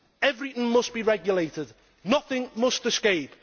Everything must be regulated and nothing must escape.